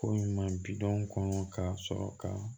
Ko ɲuman bi dɔn kɔsɔ ka